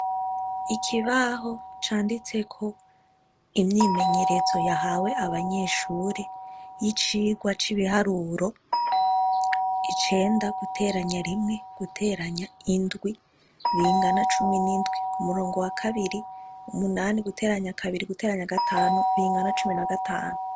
Ikibaho canditseko imyimenyerezo yabanyeshure yicirwa cibiharuro icenda guteranya rimwe guteranya indwi bingana cumi nindwi kumurongo wa kabiri umunani guteranya kabiri guteranya gatanu bingana cumi na gatanu